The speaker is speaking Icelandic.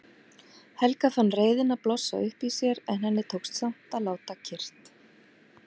Helga fann reiðina blossa upp í sér en henni tókst samt að láta kyrrt.